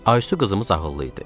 Aysu qızımız ağıllı idi.